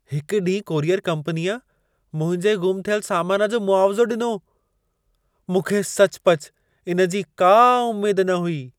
हिक ॾींहुं कोरियर कंपनीअ मुंहिंजे गुमु थियल सामान जो मुआवज़ो ॾिनो, मूंखे सचुपचु इन जी का उमेद न हुई।